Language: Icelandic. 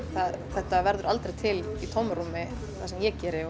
þetta verður aldrei til í tómarúmi það sem ég geri